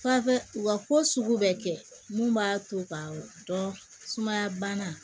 Fafɛ wa ko sugu bɛ kɛ mun b'a to ka dɔn sumaya bana